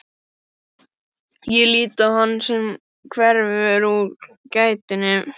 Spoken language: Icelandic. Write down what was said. Ég lít á hann sem hverfur úr gættinni.